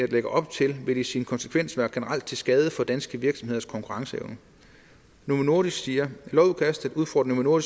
lægger op til vil i sin konsekvens være generelt til skade for danske virksomheders konkurrenceevne novo nordisk siger lovudkastet udfordrer novo